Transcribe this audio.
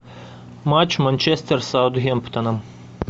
матч манчестер с саутгемптоном